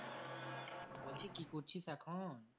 কি করছিস এখন?